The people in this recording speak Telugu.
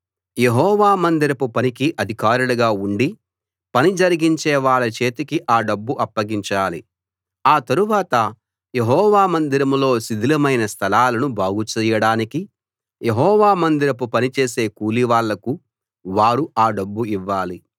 యెహోవా మందిరపు పనికి అధికారులుగా ఉండి పని జరిగించేవాళ్ళ చేతికి ఆ డబ్బు అప్పగించాలి ఆ తరువాత యెహోవా మందిరంలో శిథిలమైన స్థలాలను బాగుచేయడానికి యెహోవా మందిరపు పనిచేసే కూలివాళ్లకు వారు ఆ డబ్బు ఇవ్వాలి